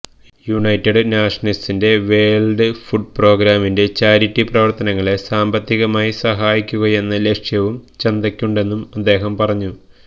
United നാഷന്സിന്റെ world food പ്രോഗ്രാമിന്റെ charity പ്രവര്ത്തനങ്ങളെ സാമ്പത്തികമായി സഹായിക്കുകയെന്ന ലക്ഷ്യവും ചന്തക്കുണ്ടെന്നും അദ്ദേഹം പറഞ്ഞു